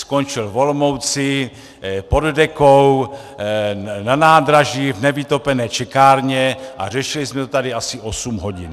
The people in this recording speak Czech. Skončil v Olomouci pod dekou na nádraží v nevytopené čekárně a řešili jsme to tady asi osm hodin.